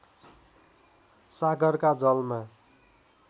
सागरका जलमा